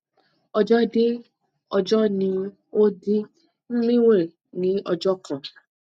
ọjo de ọjọ ni ó di mwrin ní ọjọ kan